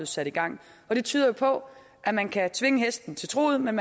sat i gang det tyder jo på at man kan tvinge hesten til truget men